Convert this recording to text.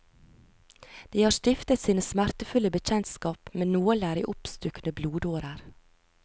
De har stiftet sine smertefulle bekjentskap med nåler i oppstukne blodårer.